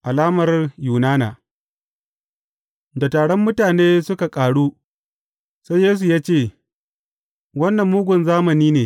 Alamar Yunana Da taron mutane suka ƙaru, sai Yesu ya ce, Wannan mugun zamani ne.